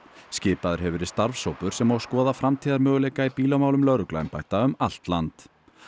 skipaður hefur verið starfshópur sem á að skoða framtíðarmöguleika í bílamálum lögregluembætta um allt land